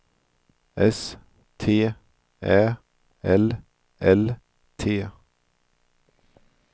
S T Ä L L T